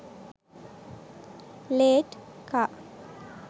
late car